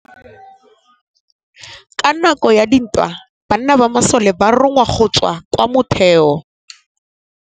Ka nakô ya dintwa banna ba masole ba rongwa go tswa kwa mothêô.